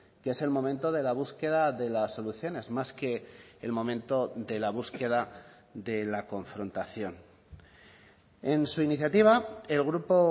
que es el momento de la búsqueda de las soluciones más que el momento de la búsqueda de la confrontación en su iniciativa el grupo